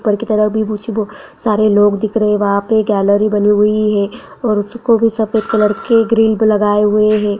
ऊपर की तरफ़ भी कुछ सारे लोग दिख रहे वहां पे गैलरी बनी हुई है उसको भी सफ़ेद कलर के ग्रिल पे लगाऎ हुए है।